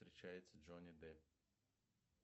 встречается джонни депп